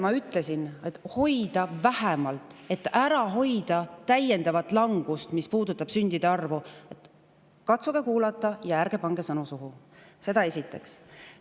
Ma ütlesin, et tuleks ära hoida vähemalt täiendav langus, mis puudutab sündide arvu – katsuge kuulata ja ärge pange mulle sõnu suhu, seda esiteks.